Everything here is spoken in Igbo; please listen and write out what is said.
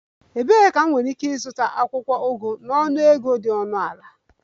Ebee ka m nwere ike ịzụta akwụkwọ ugu na ọnụego dị ọnụ ala?